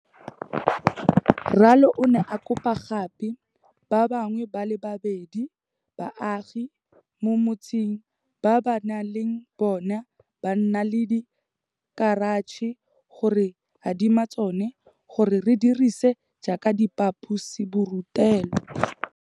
Ralo o ne a kopa gape ba bangwe ba le babedi ba baagi mo motseng ba ba neng le bona ba na le dikeratšhe go re adima tsona gore re di dirise jaaka diphaposiburutelo.